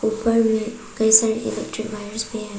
ऊपर में कई सारी इलेक्ट्रिक वायरस भी हैं।